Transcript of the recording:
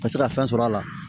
Ka se ka fɛn sɔrɔ a la